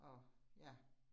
Og ja